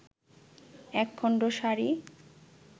একখণ্ড সাড়ি